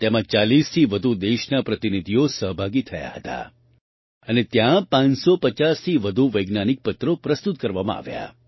તેમાં 40થી વધુ દેશોના પ્રતિનિધિઓ સહભાગી થયા હતા અને ત્યાં ૫૫૦થી વધુ વૈજ્ઞાનિક પત્રો પ્રસ્તુત કરવામાં આવ્યા